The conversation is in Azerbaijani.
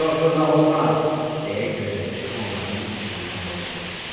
Burda oturmaq olmaz, deyə gözətçi onların üstünə bozarılırdı.